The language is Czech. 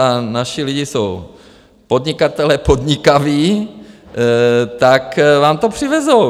A naši lidi jsou podnikatelé podnikaví, tak vám to přivezou.